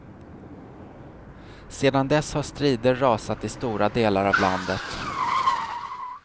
Sedan dess har strider rasat i stora delar av landet.